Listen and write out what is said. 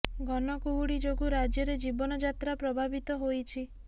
ଘନ କୁହୁଡ଼ି ଯୋଗୁ ରାଜ୍ୟରେ ଜୀବନ ଯାତ୍ରା ପ୍ରଭାବିତ ହୋଇଛି